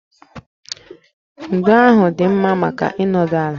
Ndo ahụ dị mma maka ịnọdụ ala